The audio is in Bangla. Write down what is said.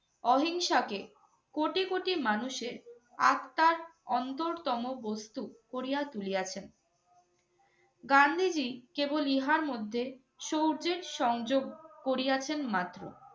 অহিংসাকে কোটি কোটি মানুষের আত্মার অন্তরতম বস্তু করিয়া তুলিয়াছেন। গান্ধীজী কেবল ইহার মধ্যে সৌর্য্যের সংযোগ করিয়াছেন মাত্র।